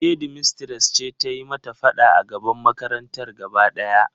Shedmistres ce ta yi mata fada a gaban makarantar gaba daya.